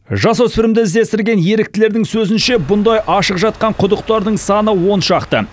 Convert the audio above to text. жасөспірімді іздестірген еріктілердің сөзінше бұндай ашық жатқан құдықтардың саны он шақты